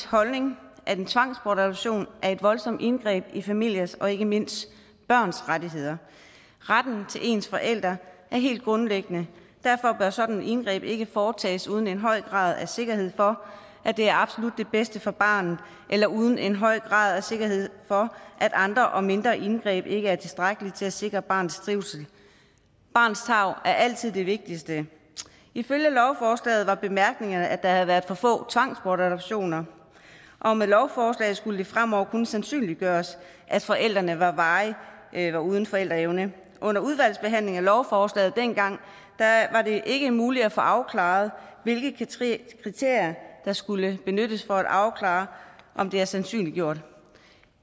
holdning at en tvangsbortadoption er et voldsomt indgreb i familiers og ikke mindst børns rettigheder retten til ens forældre er helt grundlæggende derfor bør sådan et indgreb ikke foretages uden en høj grad af sikkerhed for at det er absolut det bedste for barnet eller uden en høj grad af sikkerhed for at andre og mindre indgreb ikke er tilstrækkeligt til at sikre barnets trivsel barnets tarv er altid det vigtigste ifølge lovforslaget var bemærkningerne at der havde været for få tvangsbortadoptioner og med lovforslaget skulle det fremover kunne sandsynliggøres at forældrene varigt var uden forældreevne under udvalgsbehandlingen af lovforslaget dengang var det ikke muligt at få afklaret hvilke kriterier der skulle benyttes for at afklare om det er sandsynliggjort